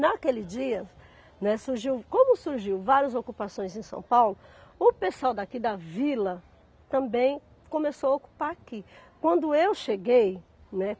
Naquele dia, né, surgiu, como surgiu várias ocupações em São Paulo, o pessoal daqui da vila também começou a ocupar aqui. Quando eu cheguei, né